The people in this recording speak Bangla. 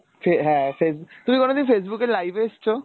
হ্যাঁ face তুমি কোনোদিন Facebook এ live এসছো?